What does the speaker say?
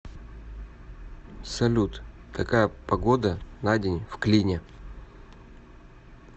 салют какая погода на день в клине